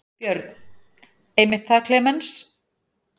Björn: Einmitt það Klemenz.